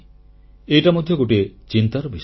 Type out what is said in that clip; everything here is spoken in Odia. ଏଇଟା ମଧ୍ୟ ଗୋଟିଏ ଚିନ୍ତାର ବିଷୟ